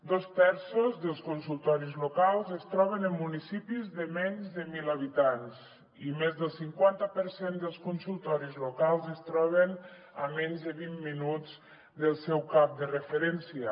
dos terços dels consultoris locals es troben en municipis de menys de mil habitants i més del cinquanta per cent dels consultoris locals es troben a menys de vint minuts del seu cap de referència